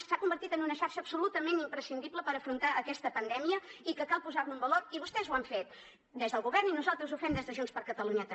s’ha convertit en una xarxa absolutament imprescindible per afrontar aquesta pandèmia i que cal posar lo en valor i vostès ho han fet des del govern i nosaltres ho fem des de junts per catalunya també